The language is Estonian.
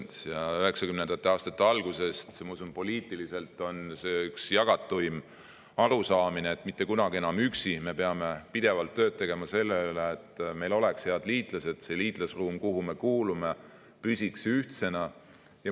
Ja 1990. aastate algusest, ma usun, poliitiliselt on see üks jagatuim arusaamine, et mitte kunagi enam üksi, me peame pidevalt tööd tegema selle nimel, et meil oleks head liitlased ja et see liitlasruum, kuhu me kuulume, püsiks ühtsena.